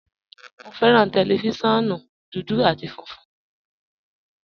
Mo fẹ́ran tẹlifísiọ̀nù dúdú àti fúnfun